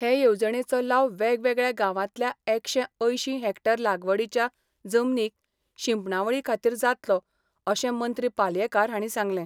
हे येवजणेचो लाव वेगवेगळ्या गांवांतल्या एकशे अंयशीं हॅक्टर लागवडीच्या जमनीक शिंपणावळी खातीर जातलो अशें मंत्री पालयेंकार हांणी सांगलें.